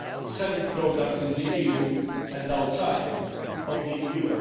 selling products in the EU and outside the